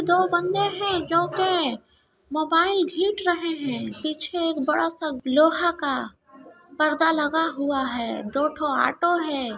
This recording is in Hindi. दो बन्दे हैं जो के मोबाइल देख रहे हैं| पीछे बड़ा-सा लोहे का पर्दा लगा हुआ है दो ऑटो हैं।